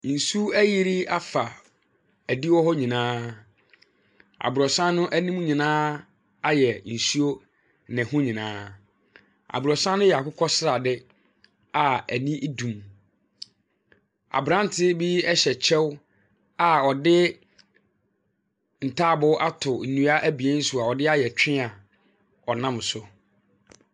Nsu ayiri afa adi hɔ nyianaa. Abrɔsan anim nyinaa ayɛ nsuo. Ne ho nyinaa. Abrɔsan no yɛ akokɔsrade a ani dum. Abrante bi hyɛ kyɛw a ɔde ntaaboo ato nnua abien so a ɔde ayɛ twen a ɔnam so.